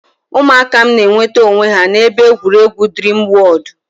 Ụmụaka m na-enweta onwe ha n'ebe egwuregwu Dreamworld.